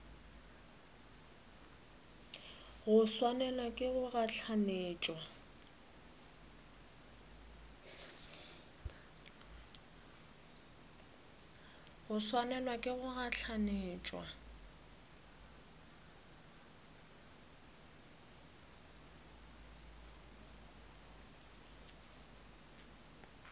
go swanelwa ke go gahlanetšwa